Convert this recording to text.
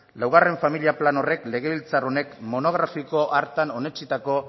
laugarren familia plan horrek legebiltzar honek monografiko hartan onetsitako